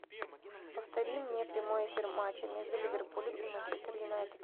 повтори мне прямой эфир матча между ливерпулем и манчестер юнайтед